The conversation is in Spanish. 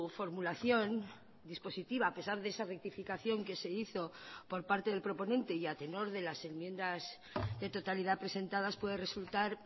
formulación dispositiva a pesar de esa rectificación que se hizo por parte del proponente y a tenor de las enmiendas de totalidad presentadas puede resultar